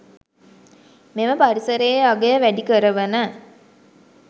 මෙම පරිසරයේ අගය වැඩි කරවන